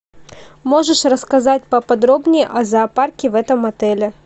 можешь рассказать поподробнее о зоопарке в этом отеле